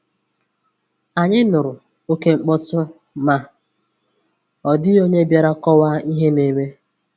Ànyị nụrụ okémkpọtụ, ma ọ dị̀ghị onye bịàrà kọ̀waa ihe na-eme